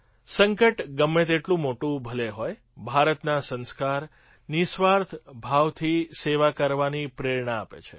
સંકટ ગમે તેટલું મોટું ભલે હોય ભારતના સંસ્કાર નિઃસ્વાર્થ ભાવથી સેવા કરવાની પ્રેરણા આપે છે